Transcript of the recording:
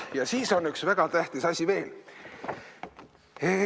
Ja siis on üks väga tähtis asi veel.